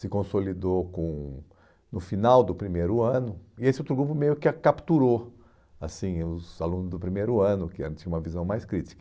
se consolidou com no final do primeiro ano, e esse outro grupo meio que a capturou, assim os alunos do primeiro ano, que antes tinham uma visão mais crítica.